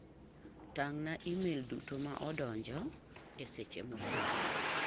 Tang'na imel duto ma odonjo e seche mokalo.